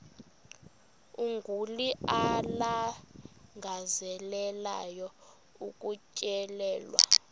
umguli alangazelelayo ukutyelelwa